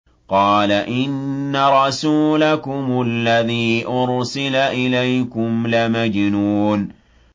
قَالَ إِنَّ رَسُولَكُمُ الَّذِي أُرْسِلَ إِلَيْكُمْ لَمَجْنُونٌ